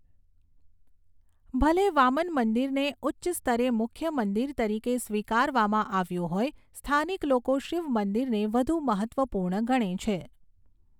ભલે વામન મંદિરને ઉચ્ચ સ્તરે મુખ્ય મંદિર તરીકે સ્વીકારવામાં આવ્યું હોય, સ્થાનિક લોકો શિવ મંદિરને વધુ મહત્ત્વપૂર્ણ ગણે છે.